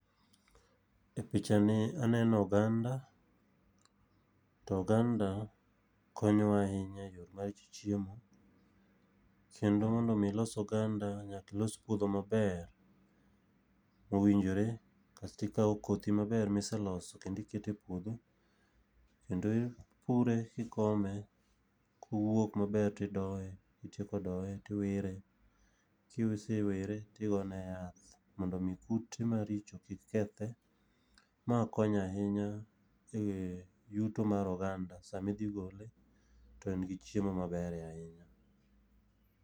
E picha ni aneno oganda, to oganda konyo wa ahinya e yo mar chiemo, kendo mondo omi ilos oganda ,nyaka ilos puodho maber, owinjore, kasto ikawo kodhi maber miseloso kendo iketo e puodho, kendo ipure kikome, kowuok maber tidoye, kitieko doye tiwire, kisewire tigone yath mondo omi kute maricho kik kethe. Ma konyo ahinya e yuto mar oganda. Sama idhi gole, to en gi chiemo maber e i ?].